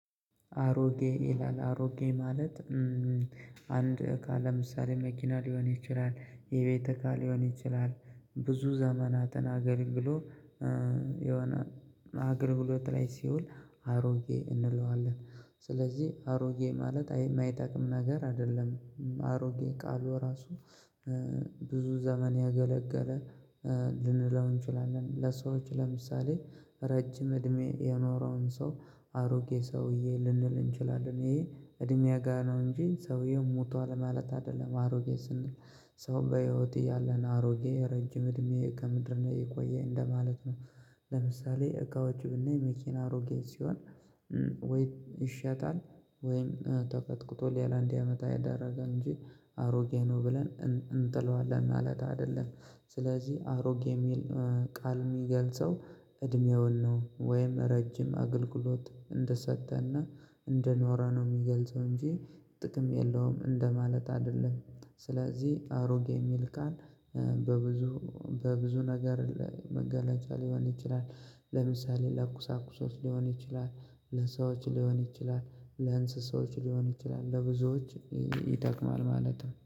አሮጌ ይላል አሮጌ ማለት። አንድ እቃ ለምሳሌ መኪና ሊሆን ይችላል የቤት እቃ ሊሆን ይችላል ብዙ ዘመናትን አገልግሎ የሆነ አገልግሎት ላይ ሲውል አሮጌ እንለዋለን። ስለዚህ አሮጌ ማለት የማይጠቅም ነገር አይደለም። አሮጌ ቃሉ ራሱ ብዙ ዘመን ያገለገለ ልንለው እንችላለን ለሰዎች ለምሳሌ ረጅም እድሜ የኖረውን ሰው አሮጌ ሰውዬ ልንል እንችላለን ይሄ እድሜ ጋር ነው እንጂ ሰውዬው ሞቷል ማለት አይደለም አሮጌ ስንል። ሰው በህይወት ያለን አሮጌ ረጅም እድሜ ከምድር ነው የቆየ እንደማለት ነው። ለምሳሌ እቃዎቹ ብናይ መኪና አሮጌ ሲሆን ወይ ይሸጣል ወይም ተቀጥቅጦ ሌላ እንዲያመጣ ያደረጋል እንጂ አሮጌ ነው ብለን እንጥለዋለን ማለት አይደለም። ስለዚህ አሮጌ የሚል ቃል የሚገልጸው እድሜውን ነው ወይም ረጅም አገልግሎት እንደሰጠ እና እንደኖረ ነው የሚገልጸው እንጂ ጥቅም የለውም እንደማለት አይደለም። ስለዚህ አሮጌ የሚል ቃል በብዙ በብዙ ነገር ላይ መገለጫ ሊሆን ይችላል። ለምሳሌ ለኩሳኩሶች ሊሆን ይችላል ለሰዎች ሊሆን ይችላል ለእንስሶች ሊሆን ይችላል ለብዙዎች ይጠቅማል ማለት ነው